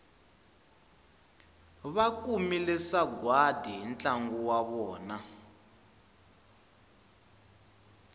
vakumile sagwadi hi ntlangu wa vona